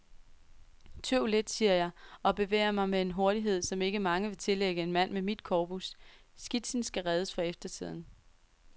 Tøv lidt, siger jeg, og bevæger mig med en hurtighed, som ikke mange vil tillægge en mand med mit korpus, skitsen skal reddes for eftertiden.